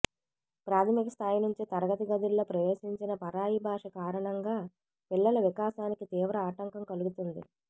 ప్రాథమిక స్థాయి నుంచే తరగతి గదుల్లో ప్రవేశించిన పరాయి భాష కారణంగా పిల్లల వికాసానికి తీవ్ర ఆటంకం కలుగుతుంది